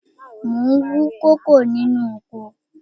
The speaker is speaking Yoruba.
Mo ń wú kókò nínú oko